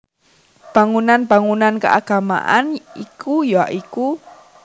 Bangunan bangunan keagamaan iku ya iku